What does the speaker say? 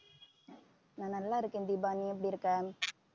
நான் நல்லா இருக்கேன் தீபா நீ எப்படி இருக்க